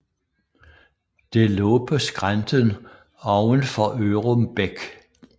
Det lå på skrænten oven for Ørum Bæk